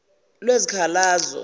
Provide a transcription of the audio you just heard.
lwezikhalazo